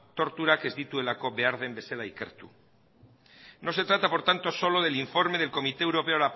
torturak ez dituelako behar den bezala ikertu no se trata por tanto solo del informe del comité europeo